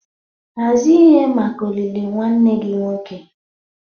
Hazie ihe maka olili nwanne gị nwoke.